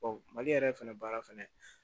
mali yɛrɛ fɛnɛ baara fɛnɛ